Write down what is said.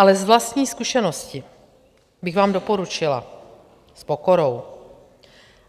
Ale z vlastní zkušenosti bych vám doporučila s pokorou,